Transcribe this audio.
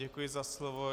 Děkuji za slovo.